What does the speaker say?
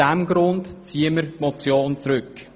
Deshalb ziehen wir die Motion zurück.